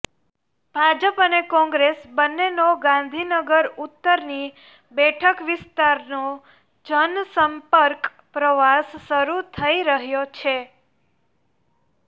ભાજપ અને કોંગ્રેસ બંનેનો ગાંધીનગર ઉત્તરની બેઠક વિસ્તારનો જનસંપર્ક પ્રવાસ શરૂ થઈ રહ્યો છે